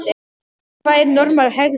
En hvað er normal hegðun?